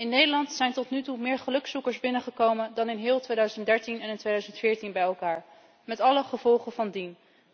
In Nederland zijn tot nu toe meer gelukzoekers binnengekomen dan in heel 2013 en 2014 bij elkaar, met alle gevolgen van dien.